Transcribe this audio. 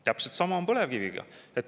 Täpselt sama on põlevkiviga.